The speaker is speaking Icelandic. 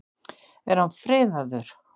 Er hann friðaður?